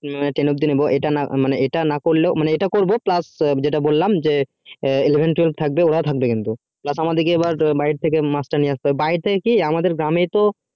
ten অব্দি নিবো এটা না করবো কিন্তু এটা করবো plus যেটা বললাম eleven twelve থাকবে কিন্তু just আমাদিকে বাহির থেকে master নিয়ে আস্তে হবে বাহির থেকে কি আমাদের গ্রামেই তো